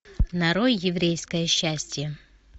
нарой еврейское счастье